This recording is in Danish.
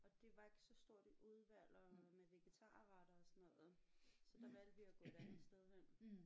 Og det var ikke så stort et udvalg og med vegatarretter og sådan noget så der valgte vi at gå et andet sted hen